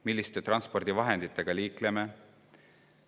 Milliste transpordivahenditega me liikleme?